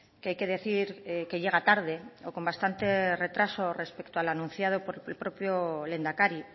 que hay que decir que llega tarde o con bastante retraso respecto a lo anunciado por el propio lehendakari